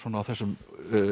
á þessum